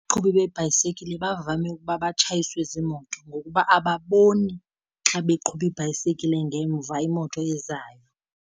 Abaqhubi beebhayisekile bavame ukuba batshayiswe ziimoto, ngokuba ababoni xa beqhuba ibhayisekile ngemva imoto ezayo.